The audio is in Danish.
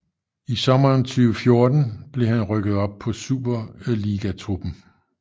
I sommeren 2014 blev han rykket op på superligatruppen